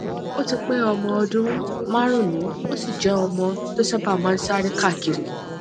o ti pé ọmọ ọdún márùnún ó sì je omo to sábà máa ń sáré káàkiri